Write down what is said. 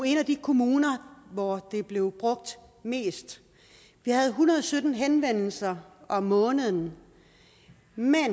en af de kommuner hvor det blev brugt mest vi havde en hundrede og sytten henvendelser om måneden